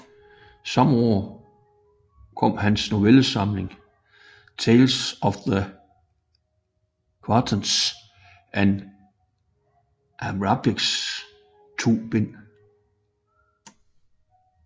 Samme år kom hans novellesamling Tales of the Grotesque and Arabesque i to bind